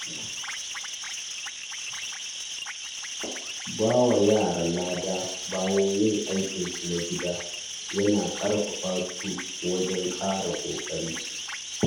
Ba wa yara lada bayan yin aikinsu na gida yana ƙarfafa su wajen ƙara ƙoƙari.